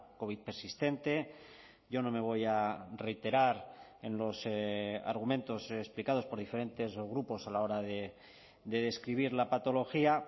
covid persistente yo no me voy a reiterar en los argumentos explicados por diferentes grupos a la hora de describir la patología